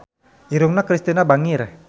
Irungna Kristina bangir